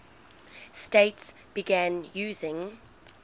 states began using